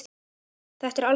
Þetta er algjör óþarfi.